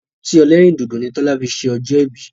Ọtí ẹlẹ́rìndòdò ni Tọ́lání fi ṣe ọjọ́ ìbí.